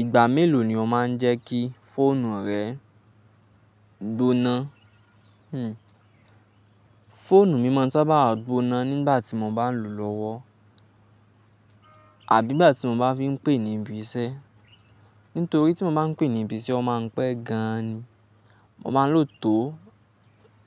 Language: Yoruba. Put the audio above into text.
Ìgbà mélòó ni o má n jẹ́ kí fóònù rẹ gbóná? Fóònù mí mọ́n sábà a gbóná nígbà tí mo bá n lò lọ́wọ́ àbí nígbà tí mo bá fi n pè níbi iṣẹ́. Nítorí tí mo má n pè níbi iṣẹ́, ó má n pẹ́ gan an ni. Mo má n lò tó